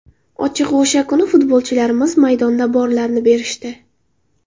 Ochig‘i o‘sha kuni futbolchilarimiz maydonda borlarini berishdi.